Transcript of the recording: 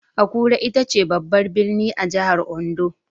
Akure ita ce babbar birni a jihar Ondo.